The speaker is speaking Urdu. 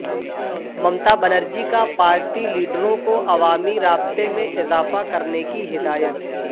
ممتا بنرجی کا پارٹی لیڈروں کوعوامی رابطہ میں اضافہ کرنے کی ہدایت